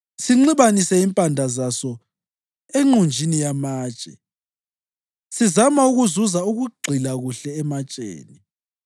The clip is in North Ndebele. sinxibanise impande zaso enqunjini yamatshe, sizama ukuzuza ukugxila kuhle ematsheni.